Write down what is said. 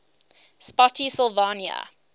spottsylvania